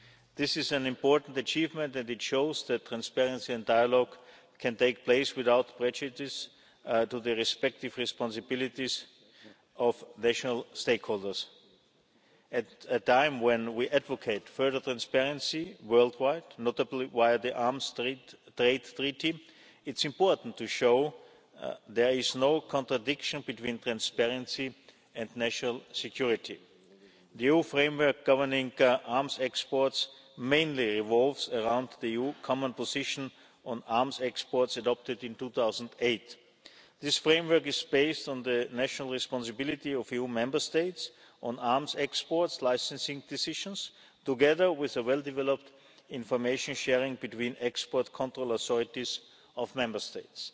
This is an important achievement and it shows that transparency and dialogue can take place without prejudice to the respective responsibilities of national stakeholders. At a time when we advocate further transparency worldwide, notably via the Arms Trade Treaty, it's important to show there is no contradiction between transparency and national security. The EU framework governing arms exports mainly revolves around the EU Common Position on arms exports adopted in 2008. This framework is based on the national responsibility of EU Member States on arms exports licensing decisions together with well developed information sharing between export control authorities of Member States.